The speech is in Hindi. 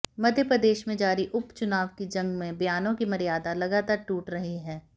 मध्य प्रदेश में जारी उपचुनाव की जंग में बयानों की मर्यादा लगातार टूट रही है